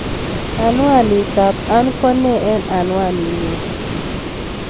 Anwanit ab Ann ko nee en anwaninyun